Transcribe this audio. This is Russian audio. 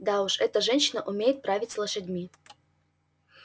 да уж эта женщина умеет править лошадьми